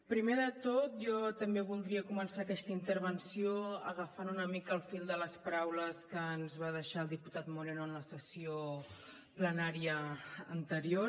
primer de tot jo també voldria començar aquesta intervenció agafant una mica el fil de les paraules que ens va deixar el diputat moreno en la sessió plenària anterior